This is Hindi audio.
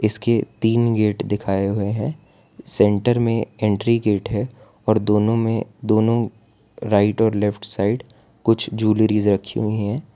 इसके तीन गेट दिखाएं हुए हैं सेंटर में एंट्री गेट है और दोनो मे दोनो राइट और लेफ्ट साइड कुछ जुलरीज रखी हुई है।